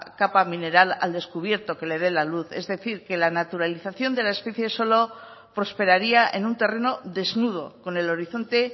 capa mineral al descubierto que le de la luz es decir que la naturalización de la especie solo prosperaría en un terreno desnudo con el horizonte